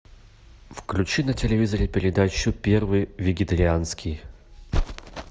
включи на телевизоре передачу первый вегетарианский